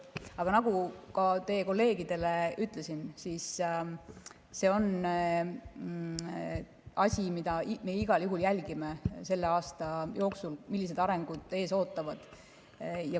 Aga nagu ka teie kolleegidele ütlesin, siis see on asi, mida me igal juhul jälgime selle aasta jooksul, millised arengud ees ootavad.